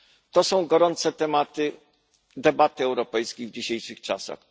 To są gorące tematy debaty europejskiej w dzisiejszych czasach.